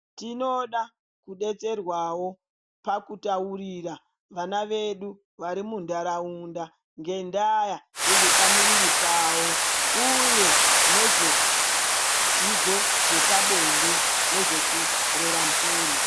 Tinoda kudetserwawo pakutaurira vana vedu varimuntaraunda ngendaya yezvepamuviri pavo uye nezvedzidzo zvepabonde nezvekurera mhuri.